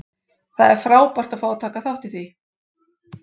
Það er frábært að fá að taka þátt í því.